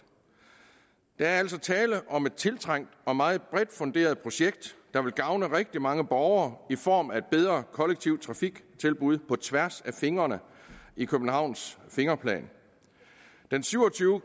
der er altså tale om et tiltrængt og meget bredt funderet projekt der vil gavne rigtig mange borgere i form af et bedre kollektivt trafiktilbud på tværs af fingrene i københavns fingerplan den syv og tyve